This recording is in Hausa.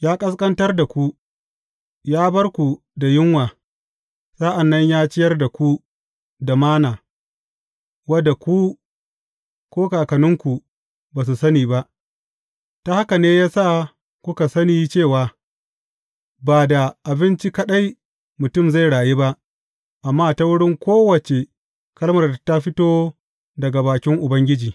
Ya ƙasƙantar da ku, ya bar ku da yunwa, sa’an nan ya ciyar da ku da Manna, wadda ku, ko kakanninku, ba su sani ba, ta haka ne ya sa kuka sani cewa, ba da abinci kaɗai mutum zai rayu ba, amma ta wurin kowace kalmar da ta fito daga bakin Ubangiji.